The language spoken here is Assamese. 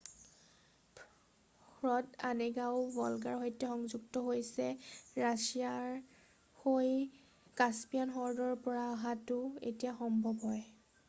হ্ৰদ অনেগাও ভল্গাৰ সৈতে সংযুক্ত সেয়ে ৰাছিয়া হৈ কাস্পিয়ান হ্ৰদৰ পৰা অহাটো এতিয়াও সম্ভৱ হয়৷